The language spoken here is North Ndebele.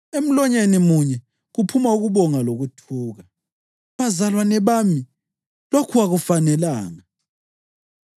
Emlonyeni munye kuphuma ukubonga lokuthuka. Bazalwane bami, lokhu akufanelanga.